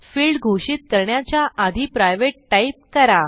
field घोषित करण्याच्या आधी प्रायव्हेट टाईप करा